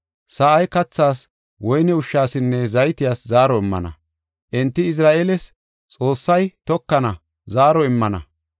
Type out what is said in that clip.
Sa7ay kathaas, woyne ushshasinne zaytiyas zaaro immana; enti Izra7eeles (Xoossay tokana) zaaro immana.